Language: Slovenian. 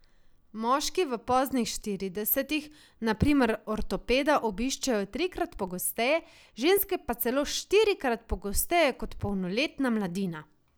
Moški v poznih štiridesetih, na primer, ortopeda obiščejo trikrat pogosteje, ženske pa celo štirikrat pogosteje kot polnoletna mladina.